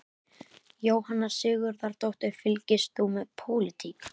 Jóhanna Sigurðardóttir: Fylgist þú með pólitík?